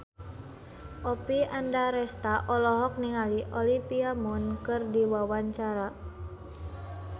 Oppie Andaresta olohok ningali Olivia Munn keur diwawancara